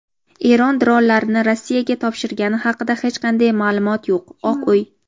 Eron dronlarni Rossiyaga topshirgani haqida hech qanday ma’lumot yo‘q – Oq uy.